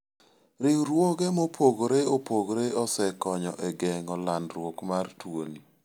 Riwruoge mopogore opogore osekonyo e geng'o landruok mar tuoni.